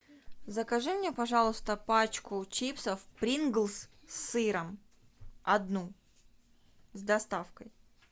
закажи мне пожалуйста пачку чипсов принглс с сыром одну с доставкой